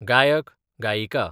गायक, गायिका